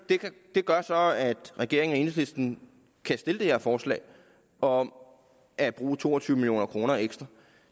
det gør så at regeringen og enhedslisten kan stille det her forslag om at bruge to og tyve million kroner ekstra